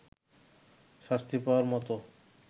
শাস্তি পাওয়ার মতো